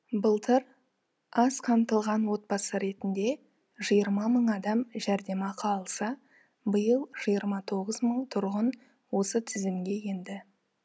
былтыр аз қамтылған отбасы ретінде жиырма мың адам жәрдемақы алса биыл жиырма тоғыз мың тұрғын осы тізімге енді